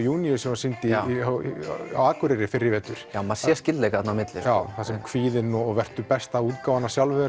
sem var sýnt á Akureyri fyrr í vetur maður sér skyldleika þarna á milli þar sem kvíðinn og vertu besta útgáfan af sjálfum